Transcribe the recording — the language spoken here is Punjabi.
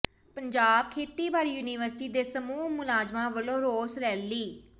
ਪੰਜਾਬ ਖੇਤੀਬਾੜੀ ਯੂਨੀਵਰਸਿਟੀ ਦੇ ਸਮੂਹ ਮੁਲਾਜ਼ਮਾਂ ਵੱਲੋਂ ਰੋਸ ਰੈਲੀ